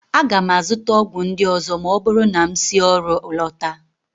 Aga m azụta ọgwụ ndị ọzọ ma ọ bụrụ na m si ọrụ lọta